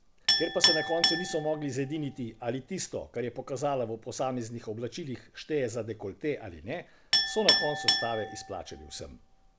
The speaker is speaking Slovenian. Ker pa se na koncu niso mogli zediniti, ali tisto, kar je pokazala v posameznih oblačilih, šteje za dekolte ali ne, so na koncu stave izplačali vsem.